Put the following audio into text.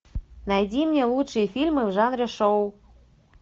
найди мне лучшие фильмы в жанре шоу